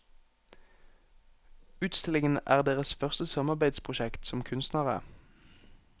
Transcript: Utstillingen er deres første samarbeidsprosjekt som kunstnere.